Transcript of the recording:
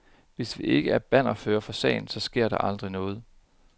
Hvis vi ikke er bannerførere for sagen, så sker der aldrig noget.